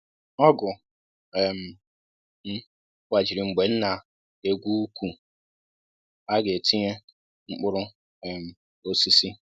ọgụ um m gbajiri mgbe m na-egwu uku a ga e tinye mkpụrụ um osisi